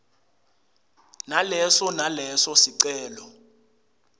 naleso naleso sicelo